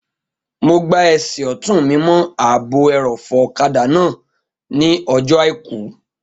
Mo gbá ẹsẹ̀ ọ̀tún mi mọ́ ààbò ẹrọ̀fọ̀ ọ̀kadà náà ní ọjọ́ àìkú